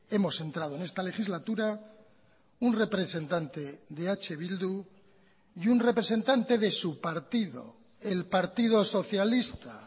hemos entrado en esta legislatura un representante de eh bildu y un representante de su partido el partido socialista